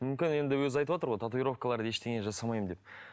мүмкін енді өзі айтып отыр ғой татуировкалар ештеңе жасамаймын деп